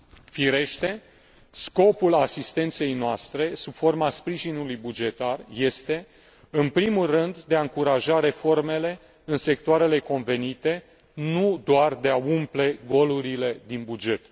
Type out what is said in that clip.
Firește, scopul asistenței noastre, sub forma sprijinului bugetar, este în primul rând, de a încuraja reformele în sectoarele convenite, nu doar de a umple golurile din buget.